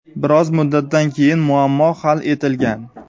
Bir oz muddatdan keyin muammo hal etilgan.